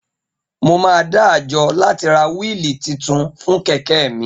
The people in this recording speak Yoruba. Mo máa dá àjọ láti ra wíili titun fún kẹ̀kẹ́ mi